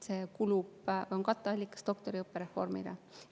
See on doktoriõppe reformi katteallikas.